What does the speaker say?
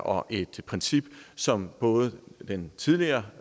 og et princip som både den tidligere